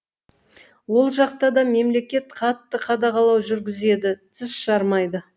ол жақта да мемлекет қатты қадағалау жүргізеді тіс жармайды